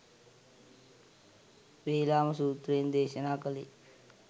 වේලාම සූත්‍රයෙන් දේශනා කළේ